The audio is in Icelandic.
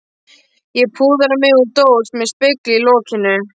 Ég púðra mig úr dós með spegli í lokinu.